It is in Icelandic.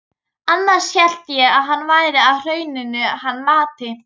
Annars hélt ég að hann væri á Hrauninu hann Matti.